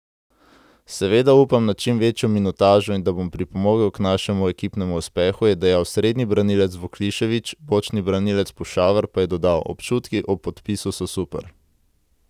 Seveda upam na čim večjo minutažo in da bom pripomogel k našemu ekipnemu uspehu,' je dejal srednji branilec Vuklišević, bočni branilec Pušaver pa je dodal: 'Občutki ob podpisu so super.